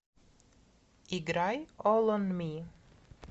играй олл он ми